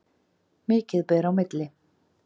Mikið ber á milli.